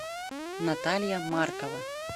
наталья маркова